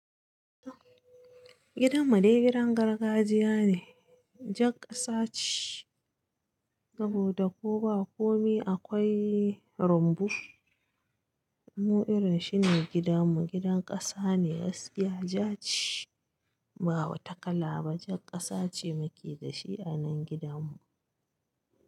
Gidan mu dai gidan gargajiya ne, jan kasa ce saboda ko ba komi akwai rumbu. Mu irin shi ne gidan mu, gidan kasa ne gaskiya ja ce, ba wata kala ba jan kasa ce muke da shi a nan gidan mu.